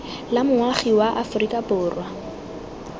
la moagi wa aforika borwa